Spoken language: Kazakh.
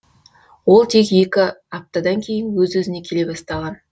ол тек екі аптадан кейін өз өзіне келе бастаған